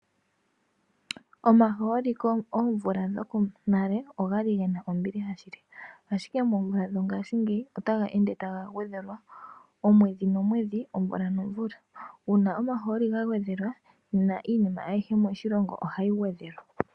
Omahooli koomvula dhoko nale ogali gena ombiliha shili. Ashike moomvula dho ngashingeyi otaga ende taga gwedhelwa omwedhi nomwedhi, omvula nomvula. Uuna omahooli ga gwedhelwa nena iinima ayihe moshilongo ohayi gwedhelwa.